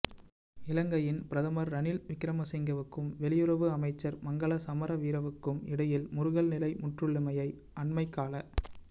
இலங்கையின் பிரதமர் ரணில் விக்கிரமசிங்கவுக்கும் வெளியுறவு அமைச்சர் மங்கள சமரவீரவுக்கும் இடையில் முறுகல் நிலை முற்றியுள்ளமையை அண்மைக்கால